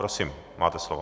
Prosím, máte slovo.